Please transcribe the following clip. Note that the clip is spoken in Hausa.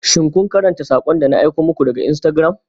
Shin kun karanta sakon da na aiko muku a Instagram?